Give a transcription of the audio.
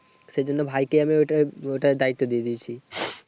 সেজন্য ভাইকে আমি ঐটার ঐটার দায়িত্ব দিয়ে দিয়েছি।